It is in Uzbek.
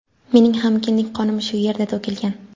Mening ham kindik qonim shu yerda to‘kilgan.